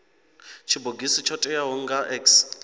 tshibogisi tsho teaho nga x